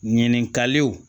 Ɲininkaliw